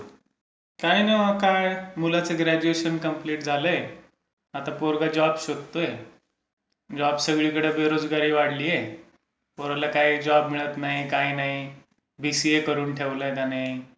काय नाय ओ काय. मुलाचं ग्र्याडूएशन कम्प्लीट झालंय. आता पोरगा जॉब शोधतोय. जॉब सगळीकडे बेरोजगारी वाढलीय. पोराला काही जॉब मिळत नाही काही नाही. बीसीए करून ठेवलंय त्याने.